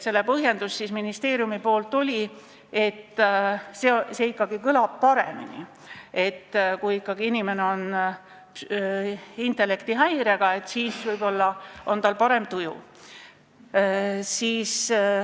Selle põhjendus ministeeriumil oli, et see kõlab ikkagi paremini ja kui inimene on intellektihäirega, siis on tal võib-olla parem tuju.